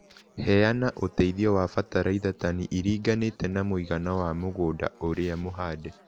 Heana ũteithio wa bataraitha tani iringanĩte na mũigana wa mũgunda ũrĩa mũhande